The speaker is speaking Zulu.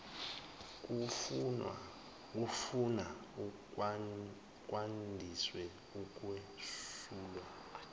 kufuna kwandiswe ukuwesulwa